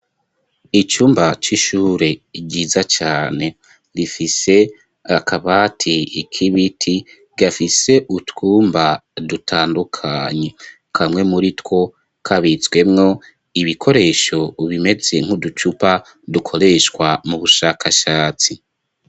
Icumba c'ishure ryiza cane rifise akabati ikibiti gafise utwumba dutandukany,e kamwe muri two kabitswemwo ibikoresho ubimetse nk'uducupa dukoreshwa mu bushakashatsi.